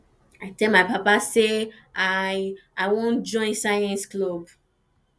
i tell my papa say i i wan join science club